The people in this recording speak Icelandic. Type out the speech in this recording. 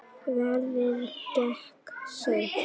Ferðin gekk seint.